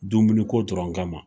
Dumuni ko dɔrɔn kama